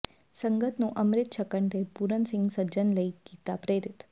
ਸੰਗਤ ਨੂੰ ਅੰਮ੍ਰਿਤ ਛਕਣ ਤੇ ਪੂਰਨ ਸਿੰਘ ਸੱਜਣ ਲਈ ਕੀਤਾ ਪ੍ਰੇਰਿਤ